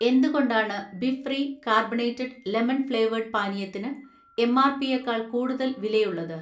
എന്തുകൊണ്ടാണ് Bfree carbonated lemon flavoured പാനീയത്തിന് എം.ആർ.പിയെക്കാൾ കൂടുതൽ വിലയുള്ളത്?